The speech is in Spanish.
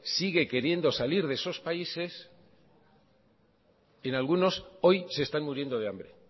sigue queriendo salir de esos países en algunos hoy se están muriendo de hambre